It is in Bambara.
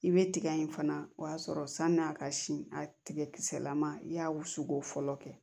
I bɛ tigɛ in fana o y'a sɔrɔ san'a ka si a tigɛ kisɛlama i y'a wusuko fɔlɔ kɛ